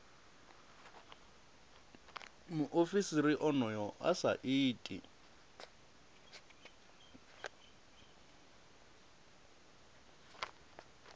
muofisiri onoyo a sa iti